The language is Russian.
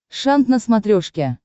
шант на смотрешке